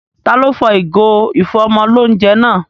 Taló fọ ìgò ìfọ́mọlóunjẹ náà?